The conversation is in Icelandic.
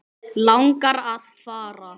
Langar að fara.